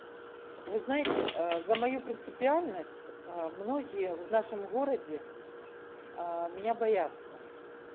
вы знаете за мою принципиальность многие в нашем городе меня бояться